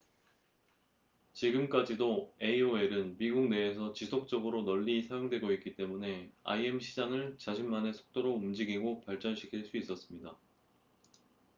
지금까지도 aol은 미국 내에서 지속적으로 널리 사용되고 있기 때문에 im 시장을 자신만의 속도로 움직이고 발전시킬 수 있었습니다